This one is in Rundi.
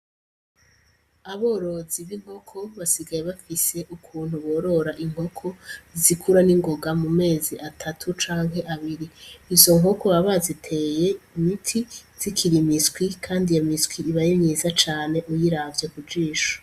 Aborozi b'inkoko basigaye bafise ukuntu borora inkoko zikura n'ingoga mu mezi atatu cane abiri. Izo nkoko baba baziteye imiti zikiri imiswi kandi iyo miswi aba ari myiza cane, uyiravye ku jisho.